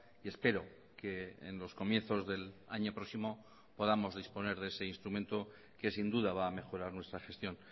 y espero que en los comienzos del año próximo podamos disponer de ese instrumento que sin duda va a mejorar nuestra gestión